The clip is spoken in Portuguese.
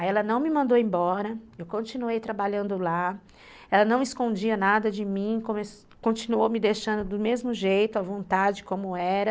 Aí ela não me mandou embora, eu continuei trabalhando lá, ela não escondia nada de mim, continuou me deixando do mesmo jeito, à vontade como era.